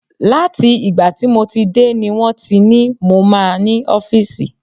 Láti ìgbà tí mo ti dé ni wọ́n ti ní mo máa ní ọ́fíìsì.